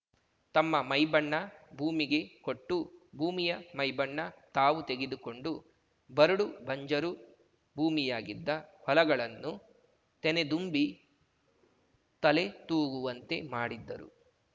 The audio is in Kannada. ತಮ್ಮ ಮೈಬಣ್ಣ ಭೂಮಿಗೆ ಕೊಟ್ಟು ಭೂಮಿಯ ಮೈಬಣ್ಣ ತಾವು ತೆಗೆದುಕೊಂಡು ಬರಡು ಬಂಜರು ಭೂಮಿಯಾಗಿದ್ದ ಹೊಲಗಳನ್ನು ತೆನೆದುಂಬಿ ತಲೆತೂಗುವಂತೆ ಮಾಡಿದ್ದರು